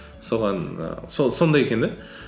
соған ііі сол сондай екен де